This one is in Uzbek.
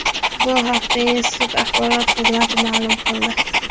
Bu haqda institut axborot xizmati ma’lum qildi .